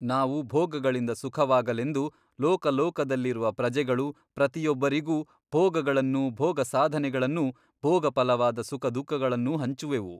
ನಾವು ಭೋಗಗಳಿಂದ ಸುಖವಾಗಲೆಂದು ಲೋಕಲೋಕದಲ್ಲಿರುವ ಪ್ರಜೆಗಳು ಪ್ರತಿಯೊಬ್ಬರಿಗೂ ಭೋಗಗಳನ್ನೂ ಭೋಗಸಾಧನೆಗಳನ್ನೂ ಭೋಗಫಲವಾದ ಸುಖದುಃಖಗಳನ್ನೂ ಹಂಚುವೆವು.